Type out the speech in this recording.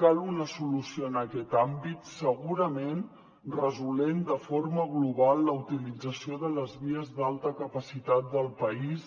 cal una solució en aquest àmbit segurament resolent de forma global la utilització de les vies d’alta capacitat del país